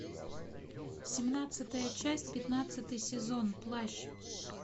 семнадцатая часть пятнадцатый сезон плащ